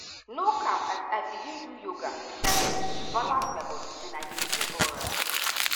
no cap as i begin do yoga steady e balance my body and i dey feel alright.